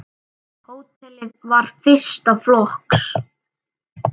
Hótelið var fyrsta flokks.